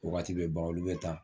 Wagati bɛ ban olu bɛ taa